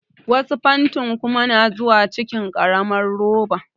Wasu fantin kuma na zuwa cikin ƙaramar roba.